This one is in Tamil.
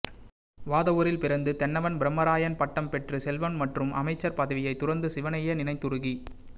வாதவூரில் பிறந்து தென்னவன் பிரம்மராயன் பட்டம் பெற்று செல்வம் மற்றும் அமைச்சர் பதவியைத் துறந்து சிவனையே நினைந்துருகி